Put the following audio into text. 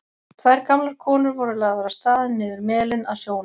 Tvær gamlar konur voru lagðar af stað niður melinn að sjónum.